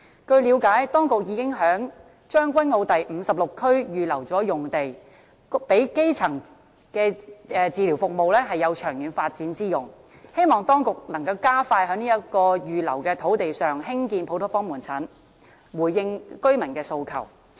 據了解，當局已經於將軍澳第56區預留用地，供基層醫療服務長遠發展之用，希望當局能夠加快在這幅預留土地上興建普通科門診，回應居民的訴求。